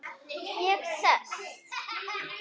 Ég sest.